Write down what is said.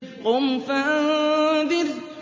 قُمْ فَأَنذِرْ